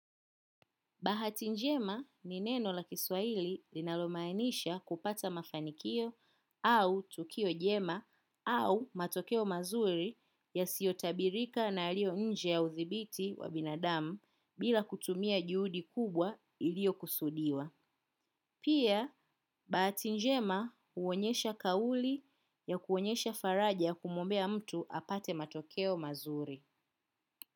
Bahati njema ni neno la kiswaili linalomainisha kupata mafanikio, au tukio jema, au matokeo mazuri yasiyo tabirika na yaliyo nje ya uthibiti wa binadamu, bila kutumia juhudi kubwa iliyo kusudiwa. Pia, bahati njema huonyesha kauli ya kuonyesha faraja kumuombea mtu apate matokeo mazuri.